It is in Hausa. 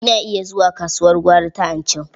Ina iya zuwa kasuwar gwari ta Anchau.